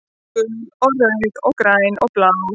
Gul og rauð og græn og blá